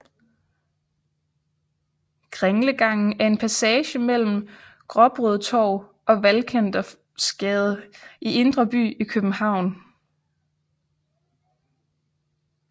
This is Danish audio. Kringlegangen er en passage mellem Gråbrødretorv og Valkendorfsgade i Indre By i København